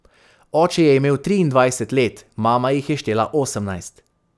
Oče je imel triindvajset let, mama jih je štela osemnajst.